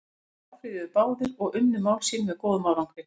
Þeir áfrýjuðu báðir og unnu mál sín með góðum árangri.